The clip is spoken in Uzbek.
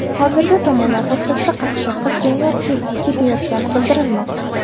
Hozirda tomonlar o‘rtasida qaqshatqich janglar ketayotgani bildirilmoqda.